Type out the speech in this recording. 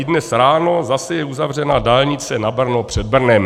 I dnes ráno je zase uzavřena dálnice na Brno před Brnem.